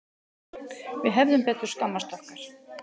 Við hefðum betur skammast okkar.